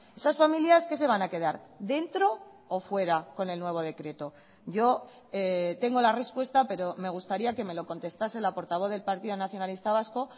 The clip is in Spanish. esas familias que se van a quedar dentro o fuera con el nuevo decreto yo tengo la respuesta pero me gustaría que me lo contestase la portavoz del partido nacionalista vasco